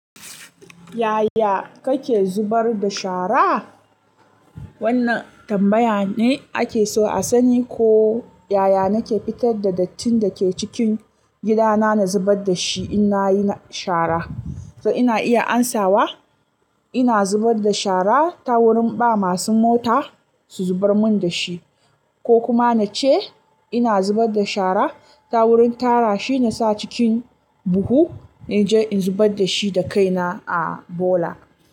Yaya kake zubar da shara? Wannan tambaya ne ake so a sani ko yaya nake fitar da dattin da ke cikin gidana na zubar da shi in nayi shara. To ina iya amsawa ina zubar da shara ta wurin ba masu mota su zubar mun dashi, ko kuma nace ina zubar da shara ta wurin tara shi na sa cikin buhu na je in zubar da shi da kaina a bola.